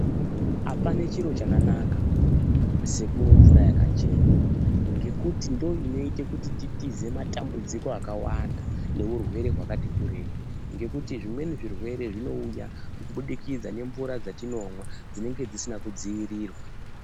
Apana chiro chakanaka sekumwa mvura yakachena ngekuti ndiyo inoite kuti titize matambudziko akawanda neurwere hwakati kurei ngekutinge zvimweni zvirwere zvinouya kubudikidza ngemvura dzatinomwa dzinenge dzisina kudziirirwa